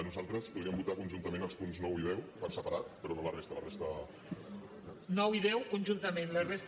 nosaltres podríem votar conjuntament els punts nou i deu per separat però no la resta la resta